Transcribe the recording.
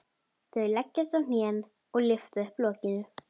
Þau leggjast á hnén og lyfta upp lokinu.